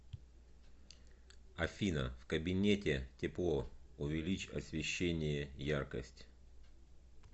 афина в кабинете тепло увеличь освещение яркость